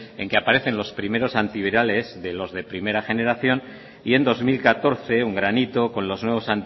en que aparecen los primero antivirales de los de primera generación y en dos mil catorce un granito con los nuevos